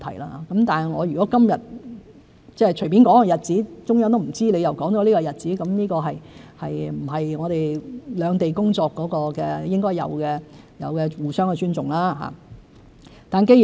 如果我今天隨便說一個日子，而中央對所說日子毫不知情，這並不是我們兩地工作應有的互相尊重。